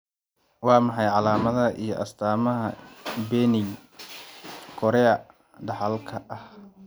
Waa maxay calaamadaha iyo astaamaha benign chorea dhaxalka ah?